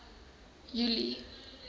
julie